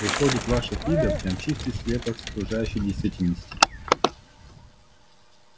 выходит ваше фидо прям чистый слепок с окружающей действительности